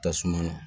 Tasuma na